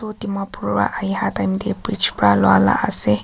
etu dimapur para ahea time bridge para lua la ase.